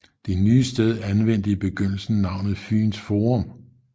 Det nye sted anvendte i begyndelsen navnet Fyns Forum